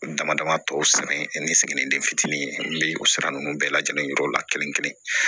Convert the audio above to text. Dama dama tɔ san ɛ ni siginiden fitinin be o sira nunnu bɛɛ lajɛlen yira o la kelen kelen